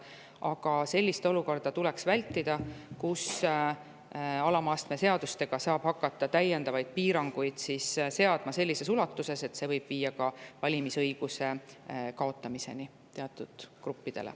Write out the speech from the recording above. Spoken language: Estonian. Aga tuleks vältida sellist olukorda, kus alama astme seadusega saab hakata täiendavaid piiranguid seadma sellises ulatuses, et see võib viia teatud gruppide valimisõiguse kaotamiseni.